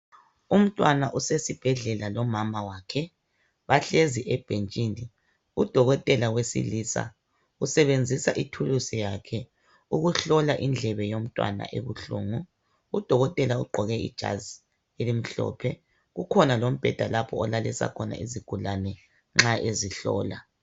Umntwana usesibhedlela lomama wakhe, bahlezi ebhentshini. Udokotela wesilisa usebenzisa ithuluzi lakhe ukuhlola indlebe yomntwana ebuhlungu. Udokotela ugqoke ijazi elimhlophe kukhona lombheda lapho alalisa khona izigulani nxa ezihlola.